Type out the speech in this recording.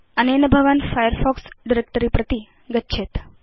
अनेन भवान् Firefox directory प्रति गच्छेत्